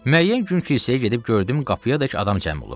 Müəyyən gün kilsəyə gedib gördüm qapıyadək adam cəm olub.